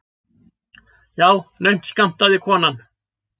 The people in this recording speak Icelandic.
Já, naumt skammtaði konan.